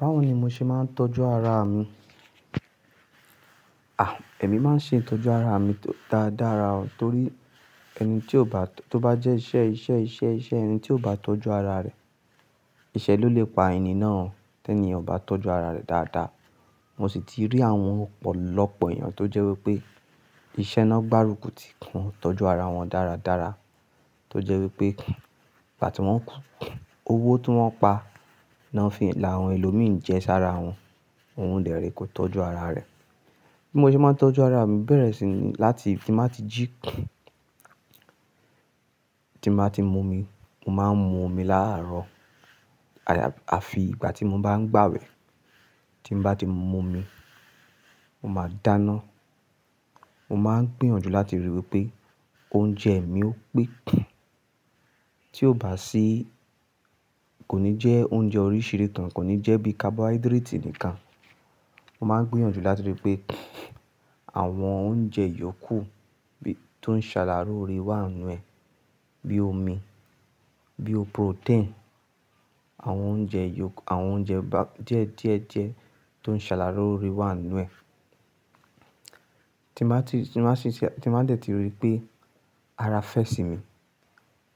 Báwo ni mo ṣe máa ń tọ́jú ara mi? À, èmi máa ń ṣe ìtọ́jú ara mi dáadára o torí ẹni tí ó bá, tó bá jẹ́ iṣẹ́, iṣẹ́, iṣẹ́, iṣẹ́ ẹni tí ò bá tọ́jú ara rẹ̀, ìṣẹ́ ló lè pa ẹni náà tí ẹni ò bá tọ́jú ara rẹ̀ dáadáa. Mo sì ti rí àwọn ọ̀pọ̀lọpọ̀ èèyàn tó jẹ́ wí pé iṣẹ́ náà gbárùkù ti won tọ́jú ara wọn dáradára, tó jẹ́ wí pé nígbà tí wọ́n kú, owó tí wọ́n pa náà fi la àwọn ẹlòmíràn jẹ sára wọn. Òun dèré kò tọ́jú ara rẹ̀. Bí mo ṣe máa ń tọ́jú ara mi, bẹ̀rẹ̀ sí ní láti tí mo bá ti jí, tí mo bá ti mu omi, mo máa ń mu omi láàárọ̀. Àyà-- àfi ìgbà tí mo bá ń gbàwẹ̀. Tí mo bá ti mu omi, mo máa dáná. Mo máa ń gbìyànjú láti ríi wí pé oúnjẹ mi ó pé tí ò bá sí kò ní jẹ́ oúnjẹ oríṣiríṣi tán, kò ní jẹ́ bí carbohydrate nìkan. Mo máa ń gbìyànjú láti ríi pé àwọn oúnjẹ yòókù bí, tó ń ṣàlàrúre wà nínú ẹ̀, bí i omi, bí i protein, àwọn oúnjẹ yok-- àwọn oúnjẹ ba-- díẹ̀ díẹ̀ jẹ́ tó ń ṣàlàrúre wà nínú ẹ̀. Tí mo bá ti, tí mo bá ṣe, tí mo bá tẹ̀tí ríi pé ara fẹ́ sí mi,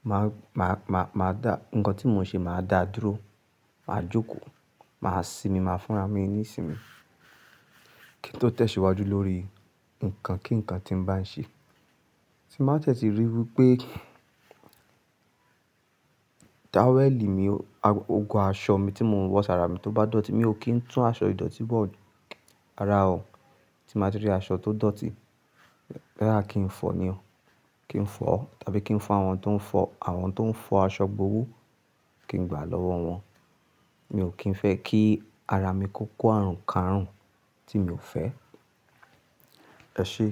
màá, màá, màá, màá dá, nǹkan tí mò ń ṣe màá dà á dúró, màá jókòó, màá sinmi, màá fúnra mi ní ìsinmi kí n tó tẹ̀síwájú lórí nǹkan kí nǹkan tí ń bá ń ṣe. Tí mo bá tẹ̀tí ríi wí pé táwẹ́ẹ̀lì mi, ago, ago aṣọ mi tí mò ń wọ sára mi tó bá dọ̀tí, mi ò kí ń tún aṣọ ìdọ̀tí bọ̀ ara o. Tí mo bá ti rí aṣọ tó dọ̀tí, lẹ́ra kí ń fọ̀ ọ́ ni o. Kí ń fọ̀ ọ́ tàbí kí ń fún àwọn tó ń fọ, àwọn tó ń fọ aṣọ gbówó kí ń gbà á lọ́wọ́ wọn. Mi ò kí ń fẹ́ kí ara mi kó kó àrùn kárùn tí mi ò fẹ́. Ẹ ṣé.